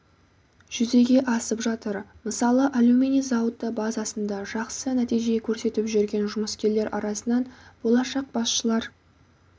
жүзеге асып жатыр мысалы алюминий зауыты базасында жақсы нәтиже көрсетіп жүрген жұмыскерлер арасынан болашақ басшылар